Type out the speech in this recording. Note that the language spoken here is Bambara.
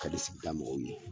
Kadi da sigida mɔgɔw ye